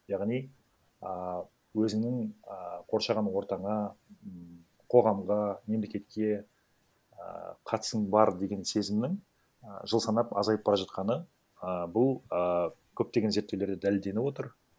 яғни ааа өзінің ааа қоршаған ортаңа м қоғамға мемлекетке а қатысым бар деген сезімнің і жыл санап азайып бара жатқаны ііі бұл і көптеген зерттеулерде дәлелденіп отыр